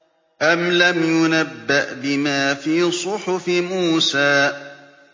أَمْ لَمْ يُنَبَّأْ بِمَا فِي صُحُفِ مُوسَىٰ